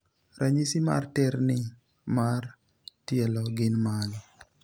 ranyisi mar terni mar tielo gin mage